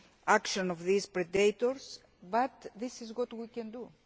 of the action of these predators, but this is all we can